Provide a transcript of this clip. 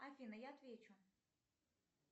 афина я отвечу